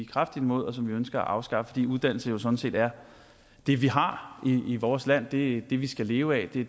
kraftigt imod og som vi ønsker at afskaffe fordi uddannelse jo sådan set er det vi har i vores land det er det vi skal leve af det